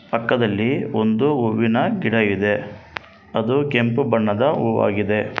ಪಕ್ಕದಲ್ಲಿ ಒಂದು ಹೂವಿನ ಗಿಡ ಇದೆ ಅದು ಕೆಂಪು ಬಣ್ಣದ ಹೂವಾಗಿದೆ.